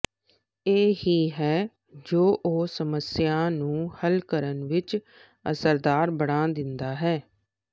ਇਹ ਹੀ ਹੈ ਜੋ ਉਹ ਸਮੱਸਿਆ ਨੂੰ ਹੱਲ ਕਰਨ ਵਿਚ ਅਸਰਦਾਰ ਬਣਾ ਦਿੰਦਾ ਹੈ ਹੈ